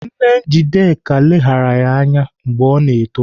Nne Njideka leghara ya anya mgbe ọ na-eto.